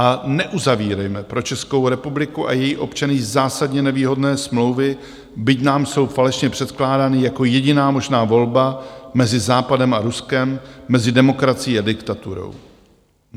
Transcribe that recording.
A neuzavírejme pro Českou republiku a její občany zásadně nevýhodné smlouvy, byť nám jsou falešně předkládány jako jediná možná volba mezi Západem a Ruskem, mezi demokracií a diktaturou.